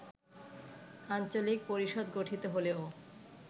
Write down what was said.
আঞ্চলিক পরিষদ গঠিত হলেও